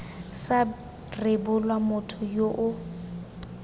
sa rebolwa motho yo o